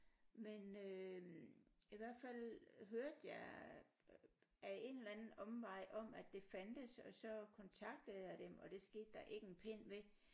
Men øh i hvert fald hørte jeg af en eller anden omvej om at det fandtes og så kontaktede jeg dem og det skete der ikke en pind ved